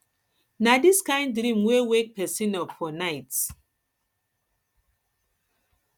na dis kain dream dey wake pesin up for night